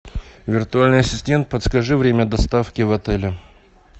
виртуальный ассистент подскажи время доставки в отеле